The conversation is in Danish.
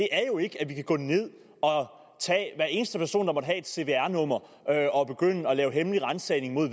er jo ikke at vi kan gå ned og tage hver eneste person der måtte have et cvr nummer og begynde at lave hemmelig ransagning